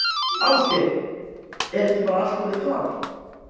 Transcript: Ásgeir, er ekki bara allt orðið klárt?